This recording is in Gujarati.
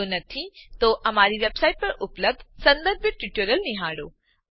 જો નથી તો અમારી વેબસાઈટ પર ઉપલબ્ધ સંદર્ભિત ટ્યુટોરીયલો નિહાળો